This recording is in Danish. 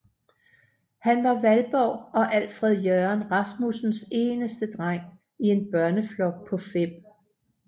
Han var Valborg og Alfred Jørgen Rasmussens eneste dreng i en børneflok på 5